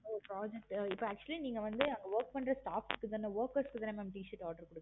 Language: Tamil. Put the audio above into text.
oh project இப்ப actually நீங்க வந்து work பண்ற staffs க்கு தான workers க்கு தான mam t-shirt order பண்றிங்க